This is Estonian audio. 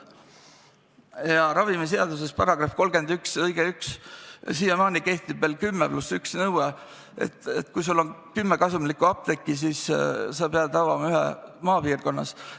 Ja ravimiseaduse § 311 on kehtestanud 10 + 1 nõude: kui sul on vähemalt kümme kasumlikku apteeki, siis sa pead avama ühe maapiirkonnas.